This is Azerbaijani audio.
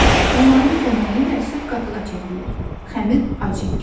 Onların köməyi ilə süd qatığa çevrilir, xəmir acıyır.